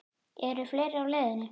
Eru fleiri á leiðinni?